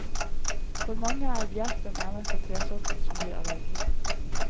For mange er bjerk den eneste tresorten som gir allergi.